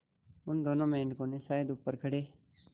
उन दोनों मेढकों ने शायद ऊपर खड़े